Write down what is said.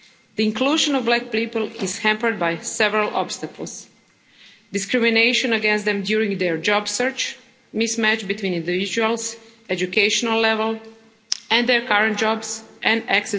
The inclusion of black people is hampered by several obstacles discrimination against them during their job search, mismatch between individuals' educational level and their current jobs and access to housing. We are therefore compelled to take such matters extremely seriously.